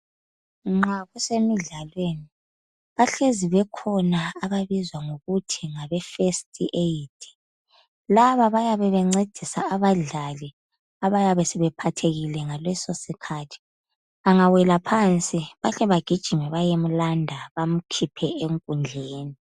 Nxa kusemidlalweni, bahlezi bekhona ababizwa ngokuthi ngabe First Aid. Laba bayabe bencedisa abadlali abayabe sebephathekile ngaleso sikhathi. Angawela phansi bahle bagijime bayemlanda bamkhiphe enkundleni.